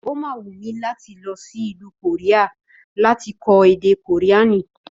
Ó ma wù mí láti lọsí ìlú Kòríà láti kó èdè kòríànì